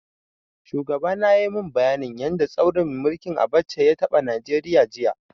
Shugaba na yayi mun bayanin yanda tsaurin mulkin Abacha ya taɓa Nigeria, jiya.